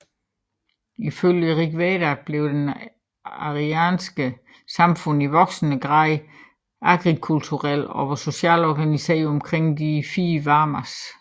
Ifølge Rigveda blev det arianske samfund i voksende grad agrikulturelt og var socialt organiseret omkring de fire Varnas